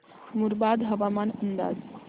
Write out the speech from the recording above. मुरबाड हवामान अंदाज